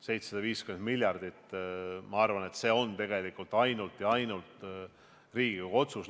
750 miljardit – ma arvan, et lõpuks on see tegelikult ainult Riigikogu otsus.